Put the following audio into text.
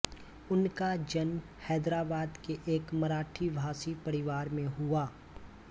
उनका जन्म हैदराबाद के एक मराठी भाषी परिवार में हुआ